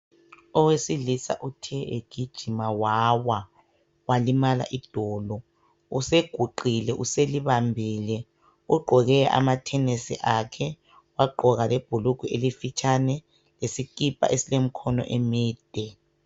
Owesilisa uthe egijima wawa walimala idolo useguqile uselibambile ugqoke amathenisi akhe wagqoka lebhulugwe elifitshane lesikipa esilemkhono emide.